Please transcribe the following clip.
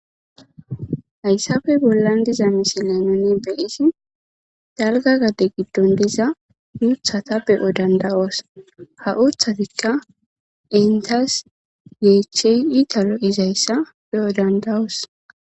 Hayssappe bollan diza misilen nu be7ishin daro gadetha giddon diza uuththatha be7o dandda7oos; ha uuththathikka enththas yeechchee itha lo7izayssa ba7o dandda7oos.